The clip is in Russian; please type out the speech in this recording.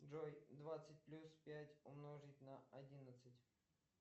джой двадцать плюс пять умножить на одиннадцать